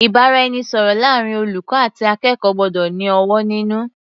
Ìbáraẹnisọ̀rọ̀ láàrin olùkọ́ àti akẹ́kọ̀ọ́ gbọ́dọ̀ ní ọ̀wọ̀ nínú.